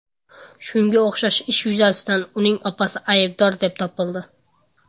Shunga o‘xshash ish yuzasidan uning opasi aybdor deb topildi.